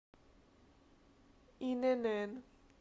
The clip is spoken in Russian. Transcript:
инн